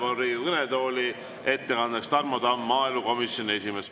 Palun Riigikogu kõnetooli ettekandjaks Tarmo Tamme, maaelukomisjoni esimehe.